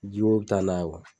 Jiwoyo bi taa n'a ye